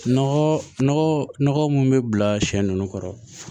Nɔgɔ nɔgɔ nɔgɔ munnu bɛ bila siɲɛ nunnu kɔrɔ